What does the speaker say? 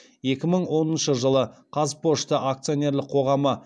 екі мың оныншы жылы қазпошта акционерлік қоғамы